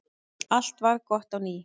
Allt varð gott á ný.